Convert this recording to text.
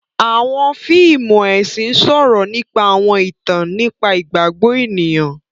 Awọn fíìmù ẹsin sọrọ nípa awọn ìtàn nípa igbagbọ ènìyàn.